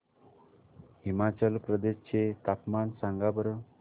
हिमाचल प्रदेश चे तापमान सांगा बरं